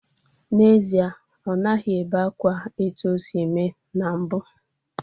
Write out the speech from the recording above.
N'ezie, ọ naghị ebe akwa etu o si eme na mbu.